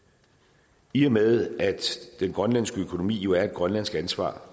i og med at den grønlandske økonomi jo er et grønlandsk ansvar